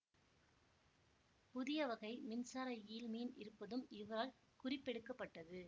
புதிய வகை மின்சார ஈல் மீன் இருப்பதும் இவரால் குறிப்பெடுக்கப்பட்டது